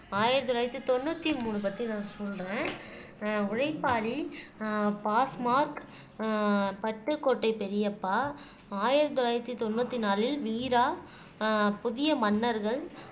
ஆயிரத்தி தொள்ளாயிரத்தி தொண்ணூத்தி மூணு பத்தி நான் சொல்றேன் ஆஹ் உழைப்பாளி ஆஹ் பாஸ்மார்க் ஆஹ் பட்டுக்கோட்டை பெரியப்பா ஆயிரத்தி தொள்ளாயிரத்தி தொண்ணூத்தி நாலில் வீரா ஆஹ் புதிய மன்னர்கள்